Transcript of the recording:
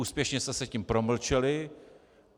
Úspěšně jste se tím promlčeli.